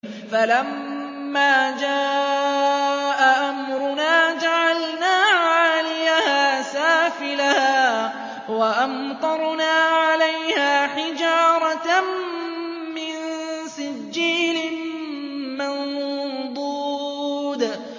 فَلَمَّا جَاءَ أَمْرُنَا جَعَلْنَا عَالِيَهَا سَافِلَهَا وَأَمْطَرْنَا عَلَيْهَا حِجَارَةً مِّن سِجِّيلٍ مَّنضُودٍ